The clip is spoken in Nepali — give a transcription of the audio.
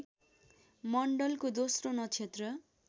मण्डलको दोस्रो नक्षत्र